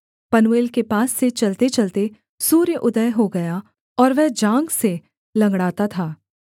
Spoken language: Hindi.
पनूएल के पास से चलतेचलते सूर्य उदय हो गया और वह जाँघ से लँगड़ाता था